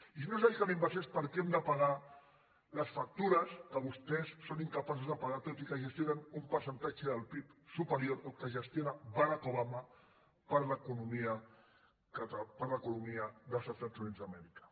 i si no es dediquen a inversió és perquè hem de pagar les factures que vostès són incapaços de pagar tot i que gestionen un percentatge del pib superior al que gestiona barack obama per a l’economia dels estats units d’amèrica